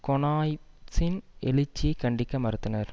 கொனாய்வ்சின் எழுச்சியைக் கண்டிக்க மறுத்தனர்